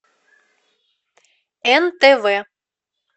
нтв